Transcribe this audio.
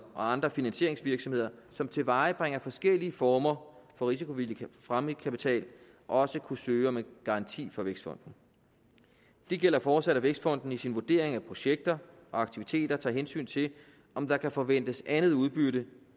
og andre finansieringsvirksomheder som tilvejebringer forskellige former for risikovillig fremmedkapital også kunne søge om en garanti fra vækstfonden det gælder fortsat at vækstfonden i sin vurdering af projekter og aktiviteter tager hensyn til om der kan forventes andet udbytte